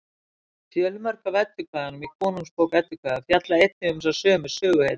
fjölmörg af eddukvæðunum í konungsbók eddukvæða fjalla einnig um þessar sömu söguhetjur